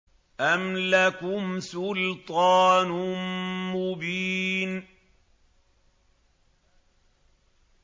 أَمْ لَكُمْ سُلْطَانٌ مُّبِينٌ